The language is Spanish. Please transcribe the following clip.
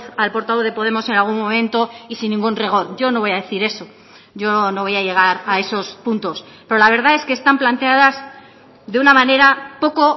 al portavoz de podemos en algún momento y sin ningún rigor yo no voy a decir eso yo no voy a llegar a esos puntos pero la verdad es que están planteadas de una manera poco